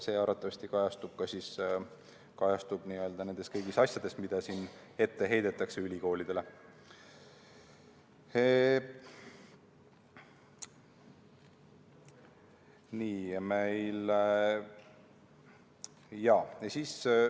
See arvatavasti kajastub kõigis nendes asjades, mida siin ülikoolidele ette heidetakse.